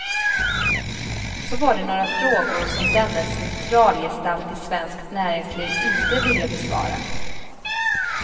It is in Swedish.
Så var det några frågor som denne centralgestalt i svenskt näringsliv inte ville besvara.